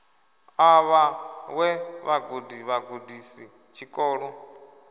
a vhaṅwe vhagudi vhagudisi tshikolo